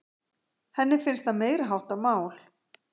Henni finnst það meiriháttar mál!